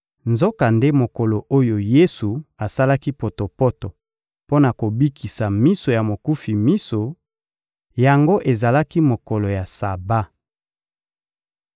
Nzokande mokolo oyo Yesu asalaki potopoto mpo na kobikisa miso ya mokufi miso yango ezalaki mokolo ya Saba.